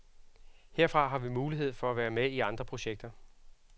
Herfra har vi mulighed for at være med i andre projekter.